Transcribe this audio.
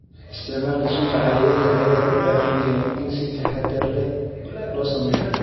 Isticmaalka sunta cayayaanka ayaa loo baahan yahay in si taxadar leh loo sameeyo.